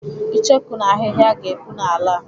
Icheku na ahịhịa ga-epu n'ala a.